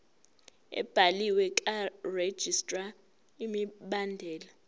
ebhaliwe karegistrar imibandela